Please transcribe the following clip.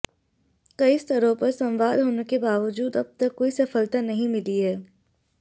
कई स्तरों पर संवाद होने के बावजूद अब तक कोई सफलता नहीं मिली है